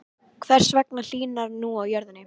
Hvers vegna hlýnar nú á jörðinni?